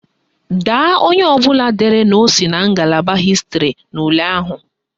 Daa onye ọbụla dere na o si na ngalaba hịstịrị n'ule ahụ!